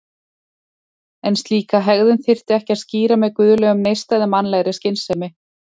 En slíka hegðun þyrfti ekki að skýra með guðlegum neista eða mannlegri skynsemi.